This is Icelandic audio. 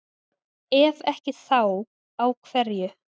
ef ekki þá á hverju